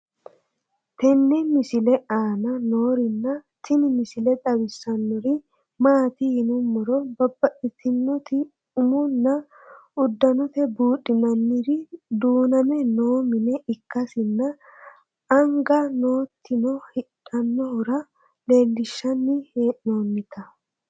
tenne misile aana noorina tini misile xawissannori maati yinummoro babaxxittinnotti umunna udannotte buudhinnanniri duunnamme noo mine ikkasinna anga nottinno hidhanohura leelinshanni hee'nonnitta